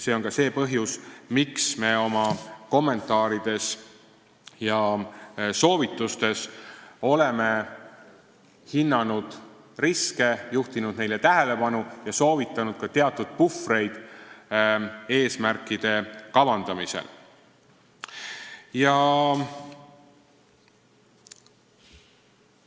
See on see põhjus, miks me oma kommentaarides ja soovitustes oleme hinnanud riske, juhtinud neile tähelepanu ja soovitanud eesmärkide kavandamisel ka teatud puhvreid.